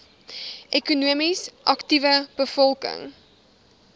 ekonomies aktiewe bevolking